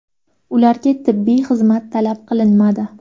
Ularga tibbiy xizmat talab qilinmadi.